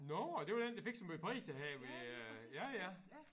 Nåh ja det var den der fik så måj priser her øh ja ja